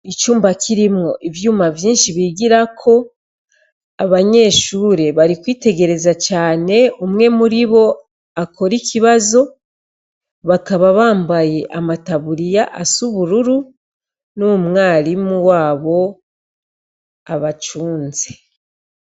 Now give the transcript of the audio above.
Icumba kirimwo ivyuma vyinshi bigira ko abanyeshure bari kwitegereza cane umwe muri bo akora ikibazo bakaba bambaye amataburiya asubururu n'umwarimu wabo abacunze.